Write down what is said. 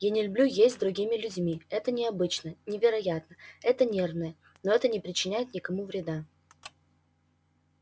я не люблю есть с другими людьми это необычно невероятно это нервное но это не причиняет никому вреда